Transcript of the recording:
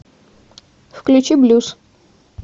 включи блюз